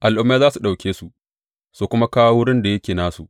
Al’ummai za su ɗauke su su kuma kawo wurin da yake nasu.